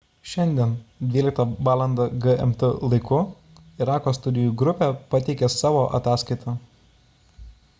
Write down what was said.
šiandien 12.00 val gmt laiku irako studijų grupė pateikė savo ataskaitą